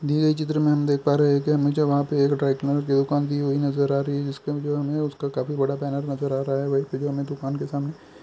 दिये गये चित्र में हम देख पा रहे हैं क्या मुझे वहां पर की दुकान दी हुई नजर आ रही है इसके अंदर हमें उसका काफी बड़ा पैनल नजर आ रहा है वह वीडियो में दुकान के सामने--